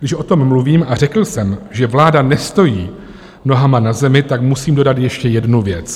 Když o tom mluvím, a řekl jsem, že vláda nestojí nohama na zemi, tak musím dodat ještě jednu věc.